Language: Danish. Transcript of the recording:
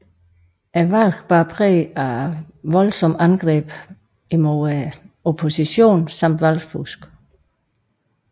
Valget bar præg af voldsomme angreb mod oppositionen samt valgfusk